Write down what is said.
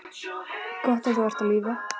Gott að þú ert á lífi.